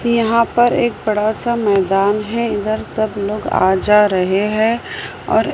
यहां पर एक बड़ा सा मैदान है इधर सब लोग आ जा रहे हैं और--